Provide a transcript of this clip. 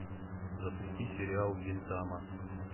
запусти сериал гинтама